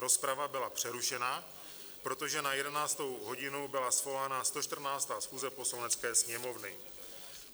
Rozprava byla přerušena, protože na 11. hodinu byla svolána 114. schůze Poslanecké sněmovny.